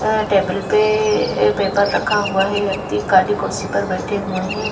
अ table पे a paper रखा हुआ है व्यक्ति काली कुर्सी पर बैठे हुए हैं।